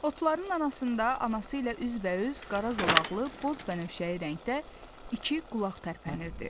Otların arasında anası ilə üzbəüz qara zolaqlı, boz bənövşəyi rəngdə iki qulaq tərpənirdi.